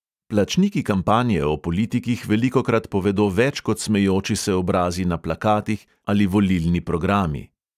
Plačniki kampanje o politikih velikokrat povedo več kot smejoči se obrazi na plakatih ali volilni programi.